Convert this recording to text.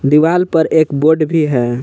दीवाल पर एक बोर्ड भी है।